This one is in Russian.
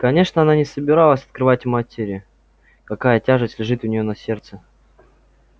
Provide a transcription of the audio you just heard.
конечно она не собиралась открывать матери какая тяжесть лежит у неё на сердце